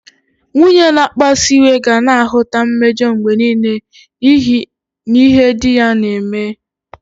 Nwunye na-akpasu iwe ga na-ahụta mmejọ mgbe nile n'ihe di ya na-eme.